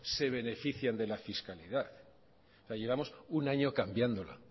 se benefician de la fiscalidad llevamos un año cambiándola